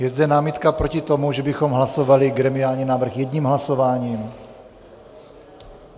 Je zde námitka proti tomu, že bychom hlasovali gremiální návrh jedním hlasováním?